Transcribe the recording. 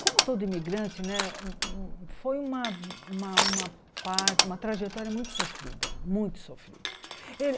Como todo imigrante né, foi uma uma uma parte, uma trajetória muito sofrida, muito sofrida.